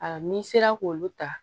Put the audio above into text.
Ayiwa n'i sera k'olu ta